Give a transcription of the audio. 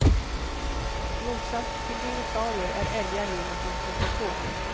I motsats till dinosaurier är älgar djur man kan förstå sig på.